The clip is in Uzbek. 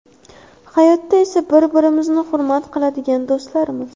Hayotda esa bir-birimizni hurmat qiladigan do‘stlarmiz.